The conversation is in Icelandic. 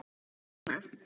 Er Lúlli heima?